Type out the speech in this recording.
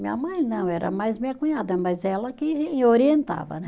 Minha mãe não, era mais minha cunhada, mas ela que orientava, né?